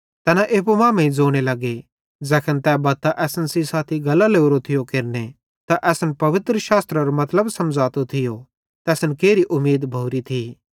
तैना एप्पू मांमेइं ज़ोने लगे ज़ैखन तै बत्तां असन सेइं साथी गल्लां लोरो थियो केरने ते असन पवित्रशास्त्रेरो मतलब मसमझ़ातो थियो त असन केरी उमीद भोरी थी